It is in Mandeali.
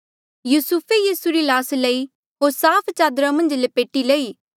युसुफे यीसू री ल्हास लई होर साफ चादरा मन्झ लपेटी लई